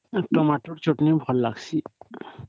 Tomato ଚଟଣି ଭଲ ଲାଗିଁସି